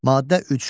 Maddə 3.